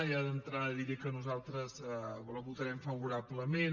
ja d’entrada diré que nosaltres la votarem favorablement